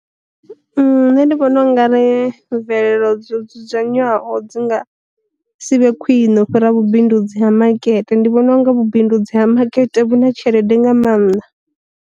Nṋe ndi vhona unga re mvelelo dzo dzudzanywaho dzi nga si vhe khwine u fhira vhu bindudzi ha makete, ndi vhona unga vhu bindudzi ha makete vhu na tshelede nga maanḓa.